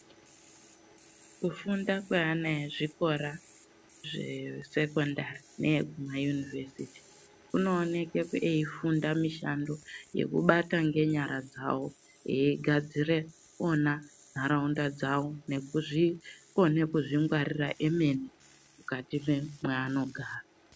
Kufunda kweana ezvikora zvesekondari neekuma univhesiti kunooneke kweifunda mishando yekubata ngenyara dzawo eigadzira ona nharaunda dzavo nekukona kuzvingwarira emene mukati mweanogara.